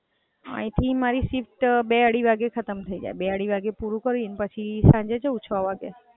અહીથી મારી shift બે-અઢી વાગે ખતમ થય જાય. બે-અઢી વાગે પૂરું કરીને પછી સાંજે જાઉ છ વાગે.